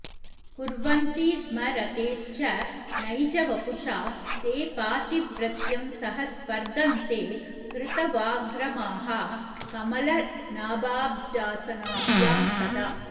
कुर्वन्ति स्म रतेश्च नैजवपुषा ते पातिव्रत्यं सह स्पर्धन्ते हृतवाग्रमाः कमलनाभाब्जासनाभ्यां सदा